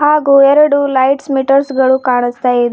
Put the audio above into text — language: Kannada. ಹಾಗೂ ಎರಡು ಲೈಟ್ಸ್ ಮೀಟರ್ಸ್ ಗಳು ಕಾಣುಸ್ತಾ ಇದೆ.